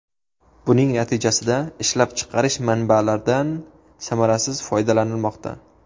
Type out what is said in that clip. Buning natijasida ishlab chiqarish manbalardan samarasiz foydalanilmoqda.